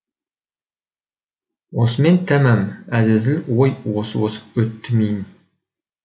осымен тәмам әзәзіл ой осып осып өтті миын